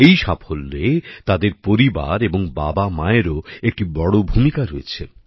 এই সাফল্যে তাদের পরিবার এবং বাবামায়েরও একটি বড় ভূমিকা রয়েছে